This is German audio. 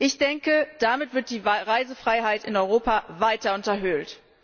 Ich denke, damit wird die Reisefreiheit in Europa weiter unterhöhlt.